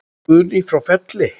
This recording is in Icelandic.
Guðný frá Felli.